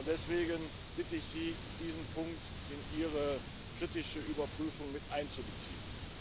Deswegen bitte ich Sie, diesen Punkt in ihre kritische Überprüfung mit einzubeziehen.